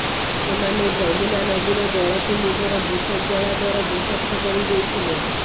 ସେମାନେ ଯମୁନା ନଦୀର ଜଳକୁ ନିଜର ବିଷ ଜ୍ୱାଳା ଦ୍ୱାରା ବିଷାକ୍ତ କରି ଦେଇଥିଲେ